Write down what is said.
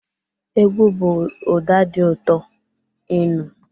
Egwu bụ ụda dị ụtọ ị nụ.